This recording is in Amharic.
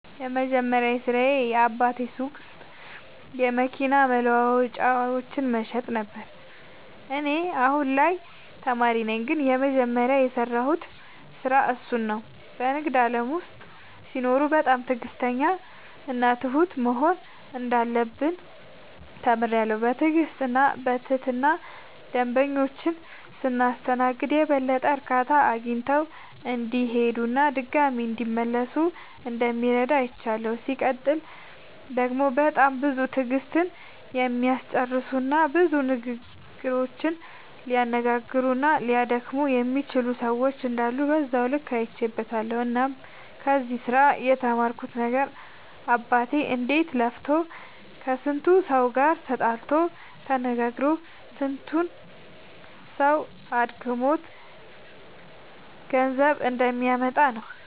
የመጀመሪያ ስራዬ በአባቴ ሱቅ ውስጥ የመኪና መለዋወጫዎችን መሸጥ ነበረ። እኔ አሁን ላይ ተማሪ ነኝ ግን የመጀመሪያ የሰራሁት ስራ እሱን ነው። በንግድ ዓለም ውስጥ ሲኖሩ በጣም ትዕግሥተኛና ትሁት መሆን እንዳለብን ተምሬያለሁ። በትዕግሥትና በትህትና ደንበኞቻችንን ስናስተናግድ የበለጠ እርካታ አግኝተው እንዲሄዱና ድጋሚም እንዲመለሱ እንደሚረዳ አይቻለሁ። ሲቀጥል ደግሞ በጣም ብዙ ትዕግሥትን የሚያስጨርሱና ብዙ ንግግሮችን ሊያነጋግሩና ሊያደክሙ የሚችሉ ሰዎች እንዳሉ በዛው ልክ አይቼበትበታለሁ። እናም ከዚህ ስራ የተማርኩት ነገር አባቴ እንዴት ለፍቶ ከስንቱ ሰው ጋር ተጣልቶ ተነጋግሮ ስንቱ ሰው አድክሞት ገንዘብ እንደሚያመጣ ነው።